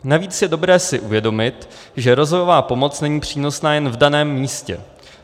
Navíc je dobré si uvědomit, že rozvojová pomoc není přínosná jen v daném místě.